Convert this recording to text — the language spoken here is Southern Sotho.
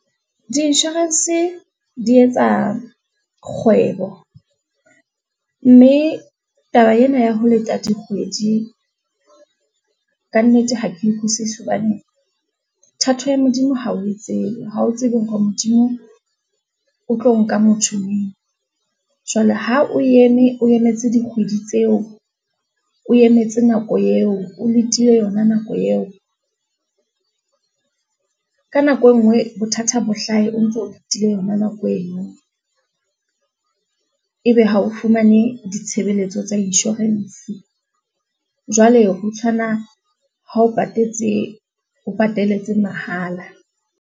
Di-insurance di etsa kgwebo, mme taba ena ya ho leta dikgwedi, ka nnete ha ke e utlwisisi hobane thato ya Modimo ha o e tsebe. Ha o tsebe hore Modimo o tlo nka motho neng. Jwale ha o eme, o emetse dikgwedi tseo, o emetse nako eo, o letile yona nako eo? Ka nako e nngwe bothata bo hlahe, o ntso o letile yona nako eno, e be ha o fumane ditshebeletso tsa insurance. Jwale ho tshwana ha o patetse, o pataletse mahala.